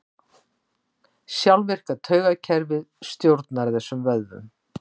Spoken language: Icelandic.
Sjálfvirka taugakerfið stjórnar þessum vöðvum.